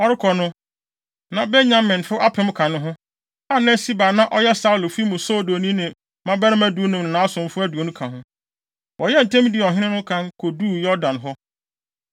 Ɔrekɔ no, na Benyaminfo apem ka ne ho, a na Siba a na ɔyɛ Saulo fi mu soodoni ne ne mmabarima dunum ne nʼasomfo aduonu ka ho. Wɔyɛɛ ntɛm dii ɔhene no kan koduu Yordan hɔ.